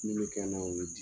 Min be kɛ n na , o ye di